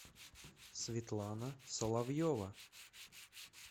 светлана соловьева